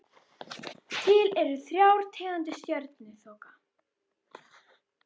Til eru þrjár tegundir stjörnuþoka.